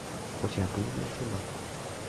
у тебя будет большой бак